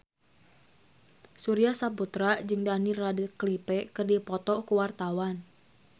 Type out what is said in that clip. Surya Saputra jeung Daniel Radcliffe keur dipoto ku wartawan